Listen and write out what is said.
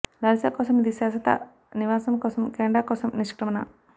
Larissa కోసం ఇది శాశ్వత నివాసం కోసం కెనడా కోసం నిష్క్రమణ